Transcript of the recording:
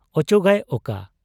ᱚᱪᱚᱜᱟᱭ ᱚᱠᱟ ?